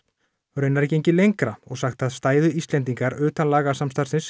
raunar er gengið lengra og sagt að stæðu Íslendingar utan